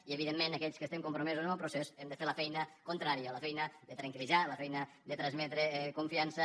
i evidentment aquells que estem compromesos amb el procés hem de fer la feina contrària la feina de tranquilla feina de transmetre confiança